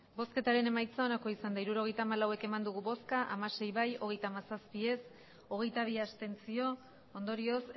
hirurogeita hamalau eman dugu bozka hamasei bai hogeita hamazazpi ez hogeita bi abstentzio ondorioz